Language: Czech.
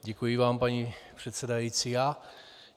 Děkuji vám paní předsedající.